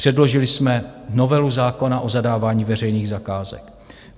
Předložili jsme novelu zákona o zadávání veřejných zakázek.